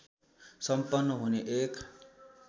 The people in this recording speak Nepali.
सम्पन्न हुने एक